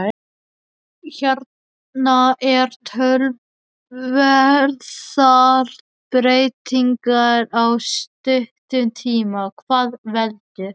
Hérna eru töluverðar breytingar á stuttum tíma, hvað veldur?